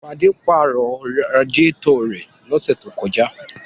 Fadé pàrọ̀ radiátọ̀ rẹ̀ lọ́sẹ̀ tó kọjá.